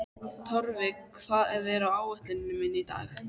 Torfi, hvað er á áætluninni minni í dag?